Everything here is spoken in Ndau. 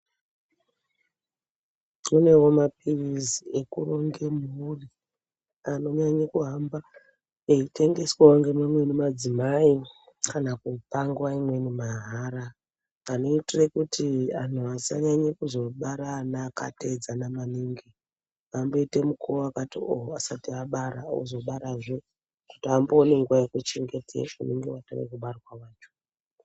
Kunewo maphilizi ekuronge mhuri anonyanye kuhamba eyitengeswawo ngemamweni madzimai kana kupa nguwa imweni mahara. Vanoitire kuti vanhu vasazonyanye kubara ana akateedzana maningi, amboite mukuwo wakati oh asati abara, ozobarazve, kuti ambowana nguwa yekuchengedze unenge watange kubarwa wacho.